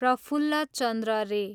प्रफुल्ल चन्द्र रे